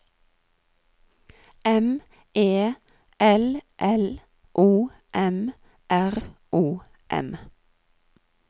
M E L L O M R O M